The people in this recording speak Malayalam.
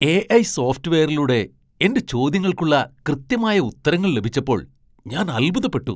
എ.ഐ.സോഫ്റ്റ്‌വെയറിലൂടെ എന്റെ ചോദ്യങ്ങൾക്കുള്ള കൃത്യമായ ഉത്തരങ്ങൾ ലഭിച്ചപ്പോൾ ഞാൻ അൽഭുതപ്പെട്ടു.